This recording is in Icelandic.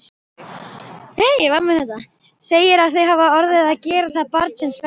Segir að þau hafi orðið að gera það barnsins vegna.